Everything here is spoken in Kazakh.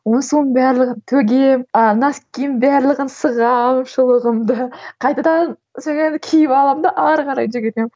оны соның барлығын төгемін а носкиімнің барлығын сығамын шұлығымды қайтадан сонан кейін киіп аламын да әрі қарай жүгіремін